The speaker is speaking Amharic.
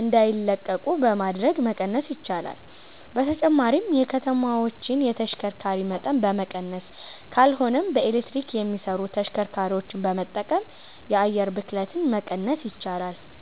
እንዳይለቁ በማድረግ መቀነስ ይቻላል። በተጨማሪም የከተማዎችን የተሽከርካሪ መጠን በመቀነስ ካልሆነም በኤሌክትሪክ የሚሰሩ ተሽከርካሪዎችን በመጠቀም የአየር ብክለትን መቀነስ ይቻላል።